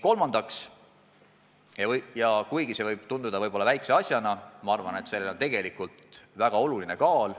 Kolmas eesmärk võib tunduda väikese asjana, aga minu arvates on sellel tegelikult väga suur kaal.